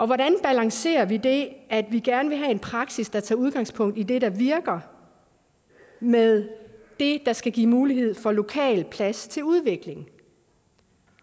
hvordan balancerer vi det at vi gerne vil have en praksis der tager udgangspunkt i det der virker med det der skal give mulighed for lokal plads til udvikling